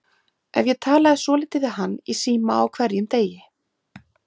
Ef ég talaði svolítið við hann í síma á hverjum degi.